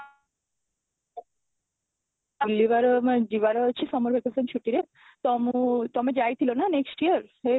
ବୁଲିବାର ମୋ ଯିବାର ଅଛି summer vacation ଛୁଟିରେ ତ ମୁଁ ତମେ ଯାଇଥିଲ ନା next year ହେ ମୁଁ